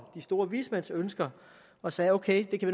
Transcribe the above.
de store vismænds ønsker og sagde ok det kan